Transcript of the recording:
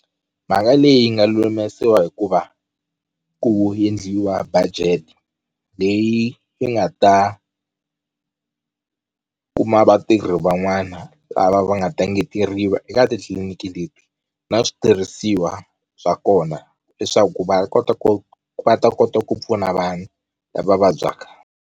Mhaka leyi nga lulamisiwa hikuva ku endliwa budget leyi yi nga ta kuma vatirhi van'wana na lava va nga ta engeteriwa eka titliliniki leti na switirhisiwa swa kona leswaku va kota ku va ta kota ku pfuna vanhu lava vabyaka.